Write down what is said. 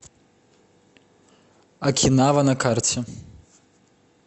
окинава на карте